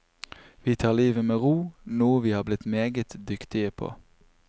Vi tar livet med ro, noe vi har blitt meget dyktige på.